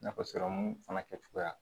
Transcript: Nafa sɔrɔmun fana kɛcogoya